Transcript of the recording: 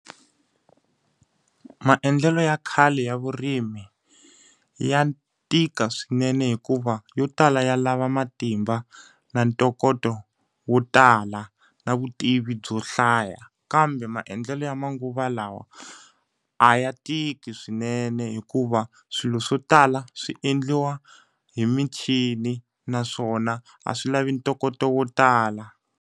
Maendlelo ya khale ya vurimi, ya tika swinene hikuva yo tala ya lava matimba na ntokoto wo tala na vutivi byo hlaya. Kambe maendlelo ya manguva lawa a ya tiki swinene hikuva, swilo swo tala swi endliwa hi michini naswona a swi lavi ntokoto wo tala.